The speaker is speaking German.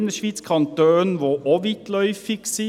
In der Innerschweiz gibt es Kantone, die auch weitläufig sind.